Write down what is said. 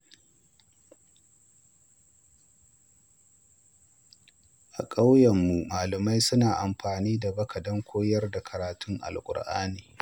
A ƙauyenmu, malamai suna amfani da baka wajen koyar da karatun Alƙur’ani.